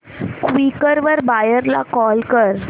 Quikr वर buyer ला call कर